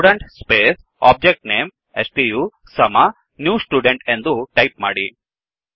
student space object name stu ಸಮ new student ಎಂದು type ಮಾಡಿ